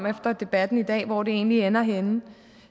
efter debatten i dag om hvor det egentlig ender henne